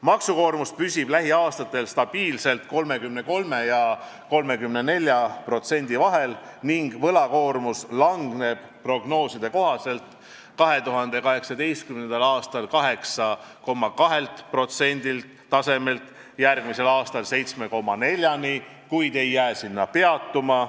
Maksukoormus püsib lähiaastatel stabiilselt 33% ja 34% vahel ning võlakoormus langeb prognooside kohaselt 2018. aasta 8,2% tasemelt järgmisel aastal 7,4%-ni, kuid ei jää sinna peatuma.